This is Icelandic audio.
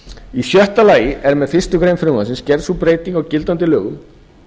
í sjötta lagi er með fyrstu grein frumvarpsins gerð sú breyting á gildandi lögum